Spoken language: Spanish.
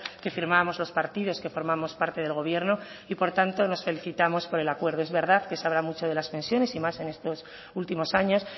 que firmamos los partidos que formamos parte del gobierno y por tanto nos felicitamos por el acuerdo es verdad que se habla mucho de las pensiones y más en estos últimos años